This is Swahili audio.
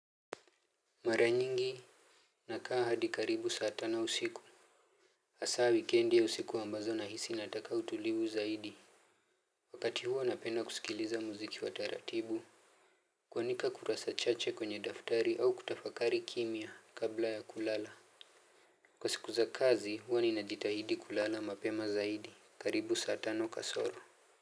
Mara nyingi nakaa hadi karibu saa tano usiku hasa weekendi ya usiku ambazo nahisi nataka utulivu zaidi. Wakati huo napenda kusikiliza muziki wa taratibu. Kwandika kurasa chache kwenye daftari au kutafakari kimya kabla ya kulala. Kwa siku za kazi hua ninajitahidi kulala mapema zaidi. Karibu saa tano kasoro.